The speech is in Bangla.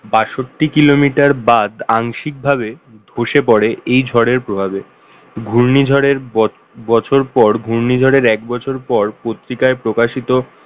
বাষট্টি kilometer বাঁধ আংশিকভাবে বসে পড়ে এই ঝড়ের প্রভাবে ঘূর্ণিঝড়ের বছর পর ঘূর্ণিঝড়ের এক বছর পর পত্রিকায় প্রকাশিত